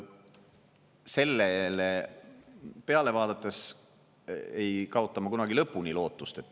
Sellele peale vaadates ei kaota ma kunagi lõpuni lootust.